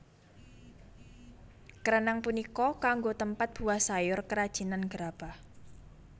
Kreneng punika kanggo tempat buah sayur kerajinan gerabah